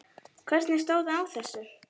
Hvernig stóð á þessu?